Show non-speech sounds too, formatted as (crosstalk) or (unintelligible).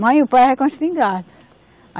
Mãe, o pai (unintelligible) com a espingarda.